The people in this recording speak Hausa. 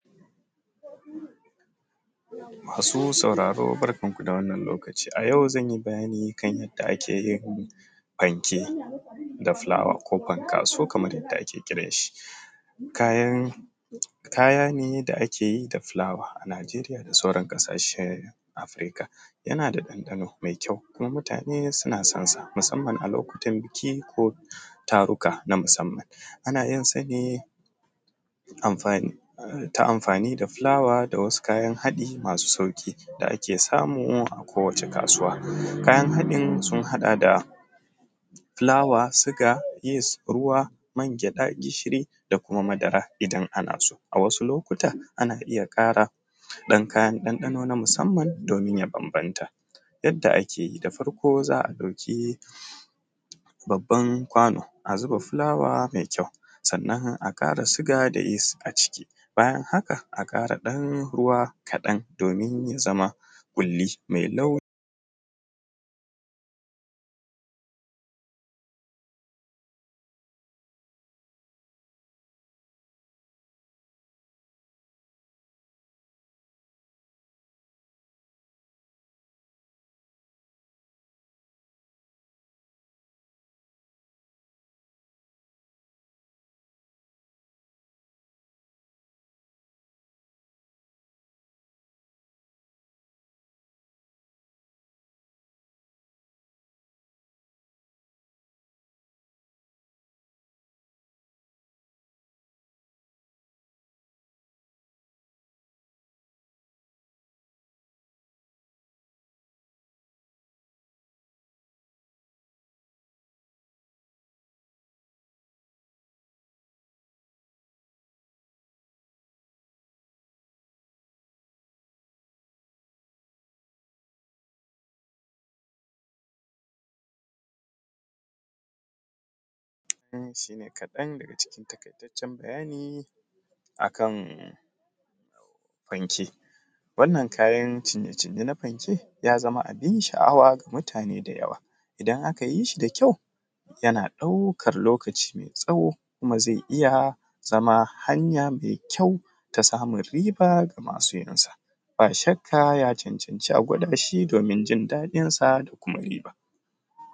Masu sauraro barkanku da wannan lokaci a ayau zanyi bayani kan yanda ake yin fanke da fulawa ko fankaso kaman yadda ake kiran shi. Kayan, kaya ne da ake yi da fulawa a Nijeriya da sauran ƙasashen afrika. Yana da ɗanɗano mai kyau kuma mutane suna sonsa musamman a lokutan biki ko taruka na musamman, ana yinsa ne amfani ta amfani da fulawa da wasu kayan haɗi masu sauƙi da ake samu a kowace kasuwa. Kayan haɗin sun haɗa da fulawa, suga, yis, ruwa, mangwaɗa, gishiri da kuma madara idan ana so, a wasu lokata ana iya ƙara ɗan kayan ɗanɗano na musamman domin ya bambamta. Yadda ake yi. Da farko za a dauki babban kwano a zuba fulawa mai kyau, sannan a ƙara suga da yis a ciki, bayan haka aƙara ɗan ruwa kaɗan domin ya zama ƙuli mai lau… wannan shi ne kaɗan daga cikin taƙaitacen bayani akan fanke. Wannan kayan cinye-cinye na fanke ya zama abin sha’awa ga mutane da yawa, idan aka yi shi da kyau yana ɗaukar lokaci mai tsawo kuma zai iya zama hanya mai kyau ta samun riba ga masu yinsa, ba shakka ya cancanci a gwada shi don jin daɗinsa da kuma riba.